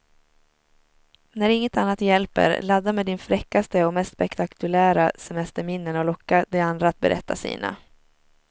När inget annat hjälper, ladda med dina fräckaste och mest spektakulära semesterminnen och locka de andra att berätta sina.